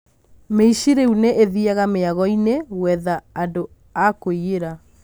Mĩici rĩu nĩithiaga mĩagoinĩ ĩno gwetha andũ a kũiyĩra.